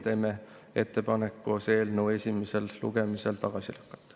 Teeme ettepaneku see eelnõu esimesel lugemisel tagasi lükata.